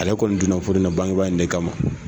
Ale kɔni donna furu in na bangeba in ne kama